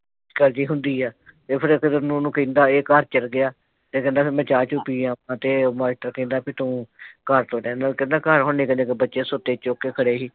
ਕਹਿੰਦੀ ਹੁੰਦੀ ਹਾਂ ਤੇ ਫੇਰ ਉਹਨੂੰ ਕਹਿੰਦਾ ਹੀ ਘਰ ਚੱਲਾ ਗਿਆ ਤੇ ਕਹਿੰਦਾ ਮੈਂ ਚਾਹ ਚੁ ਪੀ ਆਵਾਂ ਤੇ ਮਾਸਟਰ ਕਹਿੰਦਾ ਵੀ ਤੂੰ ਘਰ ਤੋਂ ਲੈ ਆਂਦਾ ਕਹਿੰਦਾ ਘਰ ਹੁਣ ਨਿੱਕੇ ਨਿੱਕੇ ਬੱਚੇ ਸੁੱਤੇ ਚੁੱਕ ਕੇ ਖੜੇ ਸੀ